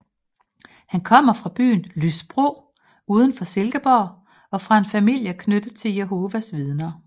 Han kommer fra byen Lysbro udenfor Silkeborg fra en familie knyttet til Jehovas vidner